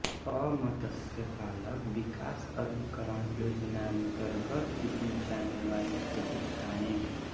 अ मत्स्य पालक विकास अभिकरण योजनान्तर्गत दी जाने वाली सुविधायें